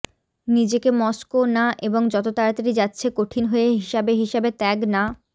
নিজেকে মস্কো না এবং যত তাড়াতাড়ি যাচ্ছে কঠিন হয়ে হিসাবে হিসাবে ত্যাগ না